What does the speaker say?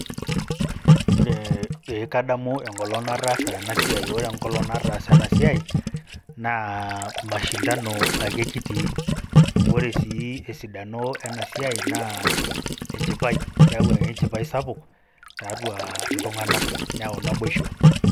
Oree pee kadamu enkolong' nataasa ena siai , ore enkolong' nataasa ena siai naa mashindano ake kitii. Ore sii esidano siai naa enchipai, keau enchipai sapuk tatuaa iltung'anak neyau naboisho.